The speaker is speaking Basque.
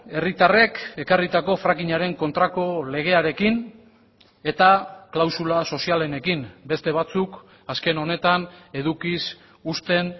herritarrek ekarritako frackingaren kontrako legearekin eta klausula sozialenekin beste batzuk azken honetan edukiz uzten